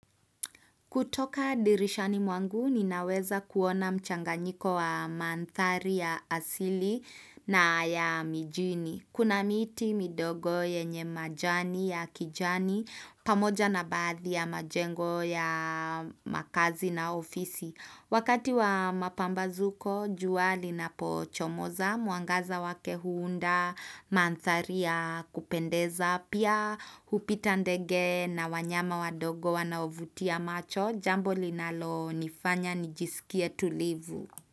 Kutoka dirishani mwangu, ninaweza kuona mchanganyiko wa manthari ya asili na ya mijini. Kuna miti midogo yenye majani ya kijani, pamoja na bathi ya majengo ya makazi na ofisi. Wakati wa mapambazuko, jua linapochomoza, muangaza wake huunda manthari ya kupendeza. Pia upita ndege na wanyama wadogo wanaovutia macho Jambo linalo nifanya nijisikie tulivu.